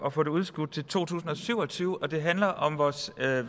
at få det udskudt til to tusind og syv og tyve det handler om vores